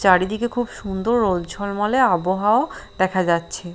চারিদিকে খুব সুন্দর রোদ ঝলমলে আবহাওয়াও দেখা যাচ্ছে।